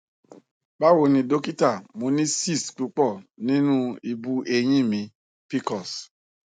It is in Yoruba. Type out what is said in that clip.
bawoni dokita mo ni cs] cysts pupo ninu ibu eyin mi pcos